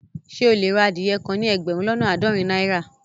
Ṣẹ e le rà adìyẹ́ kàn ní ẹgbérùn lọ́nà aádọ́rìn naira?